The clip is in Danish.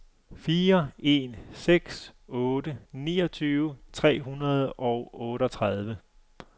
fire en seks otte niogtyve tre hundrede og otteogtredive